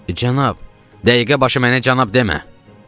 Cənab, dəqiqə başı mənə cənab demə.